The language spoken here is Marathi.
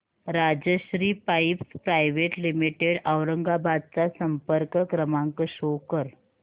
Rajshri pipes private limited Aurangabad चा संपर्क क्रमांक शो कर